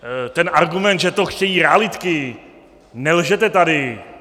Ten argument, že to chtějí realitky - nelžete tady!